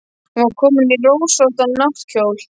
Hún var komin í rósóttan náttkjól.